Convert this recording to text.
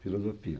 Filosofia.